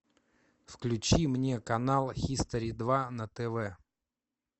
включи мне канал хистори два на тв